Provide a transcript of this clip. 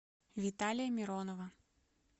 виталия миронова